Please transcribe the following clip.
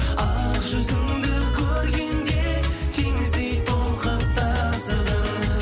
ақ жүзіңді көргенде теңіздей толқып тасыдым